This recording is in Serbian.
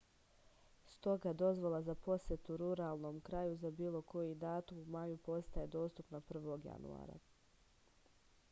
stoga dozvola za posetu ruralnom kraju za bilo koji datum u maju postaje dostupna 1. januara